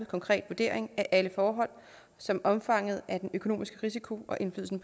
konkret vurdering af alle forhold som omfanget af den økonomiske risiko og indflydelsen